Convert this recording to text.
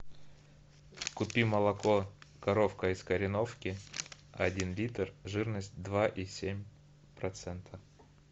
купи молоко коровка из кореновки один литр жирность два и семь процента